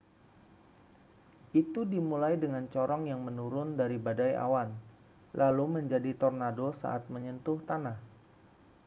itu dimulai dengan corong yang menurun dari badai awan lalu menjadi tornado saat menyentuh tanah